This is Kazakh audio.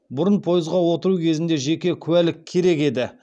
бұрын пойызға отыру кезінде жеке куәлігік керек еді